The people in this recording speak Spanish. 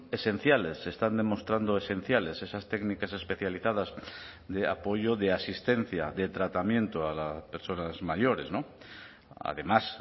esenciales se están demostrando esenciales esas técnicas especializadas de apoyo de asistencia de tratamiento a las personas mayores además